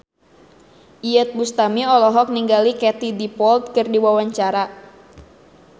Iyeth Bustami olohok ningali Katie Dippold keur diwawancara